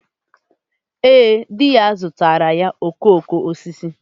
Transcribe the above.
Ee, di ya zụtaara ya okooko osisi.